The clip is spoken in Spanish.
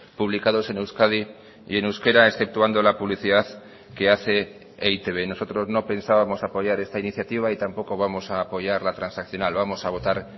publicados en euskadi y en euskera exceptuando la publicidad que hace e i te be nosotros no pensábamos apoyar esta iniciativa y tampoco vamos a apoyar la transaccional vamos a votar